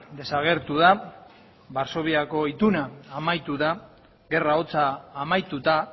desagertu da varsoviako ituna amaitu da gerra hotza amaituta